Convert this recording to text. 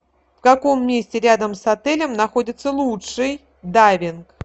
в каком месте рядом с отелем находится лучший дайвинг